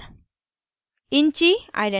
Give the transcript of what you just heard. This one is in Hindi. cid number